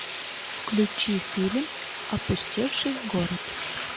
включи фильм опустевший город